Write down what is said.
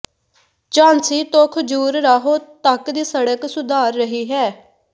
ਝਾਂਸੀ ਤੋਂ ਖਜੂਰਾਹੋ ਤਕ ਦੀ ਸੜਕ ਸੁਧਾਰ ਰਹੀ ਹੈ